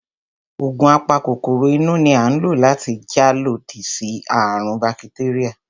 Ògùn a pa kòkòrò inú ni à ń lò láti jà lodí sí àrùn ún bakitéríà